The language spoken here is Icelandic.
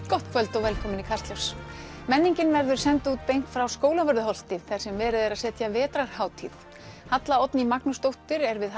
gott kvöld og velkomin í Kastljós menningin verður send út beint frá Skólavörðuholti þar sem verið er að setja vetrarhátíð Halla Oddný Magnúsdóttir er við